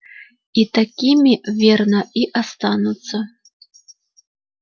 и такими верно и останутся